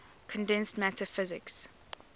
condensed matter physics